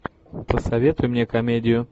посоветуй мне комедию